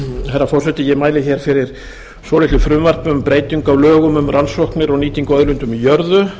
herra forseti ég mæli hér fyrir svolitlu frumvarpi um breytingar á lögum um rannsóknir og nýtingu á auðlindum í jörðu